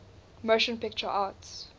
motion picture arts